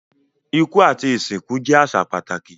Iku ati isinku jẹ aṣa pataki